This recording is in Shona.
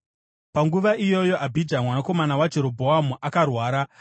Panguva iyoyo Abhija, mwanakomana waJerobhoamu, akarwara,